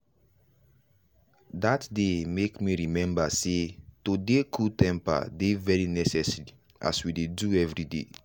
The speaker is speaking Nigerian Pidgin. that day make me remember sey to dey cool temper dey very necessary as we dey do everyday.